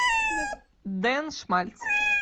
ден шмальц